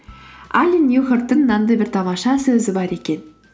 али ньюхарттың мынандай бір тамаша сөзі бар екен